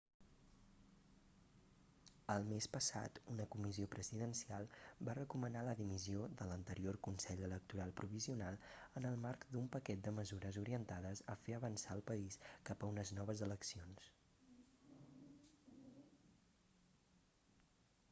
el mes passat una comissió presidencial va recomanar la dimissió de l'anterior consell electoral provisional en el marc d'un paquet de mesures orientades a fer avançar el país cap a unes noves eleccions